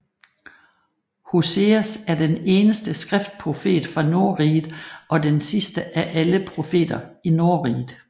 Hoseas er den eneste skriftprofet fra Nordriget og den sidste af alle profeter i Nordriget